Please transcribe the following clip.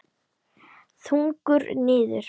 Þungur niður.